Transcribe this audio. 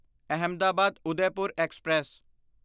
Ahmedabad Udaipur express